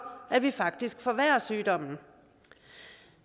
at vi faktisk forværrer sygdommen